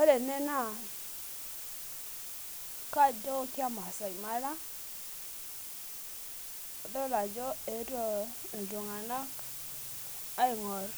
ore ena naa kajo ke maasai mara, adol ajo eetuo iltunganak aing'or